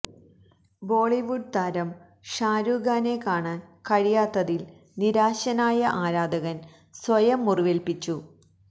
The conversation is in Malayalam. ബോളിവുഡ് താരം ഷാരൂഖ് ഖാനെ കാണാന് കഴിയാത്തതില് നിരാശനായ ആരാധകന് സ്വയം മുറിവേല്പ്പിച്ചു